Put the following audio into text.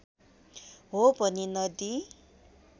हो भने नदी